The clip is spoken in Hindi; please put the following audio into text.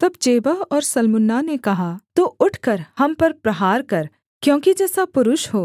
तब जेबह और सल्मुन्ना ने कहा तू उठकर हम पर प्रहार कर क्योंकि जैसा पुरुष हो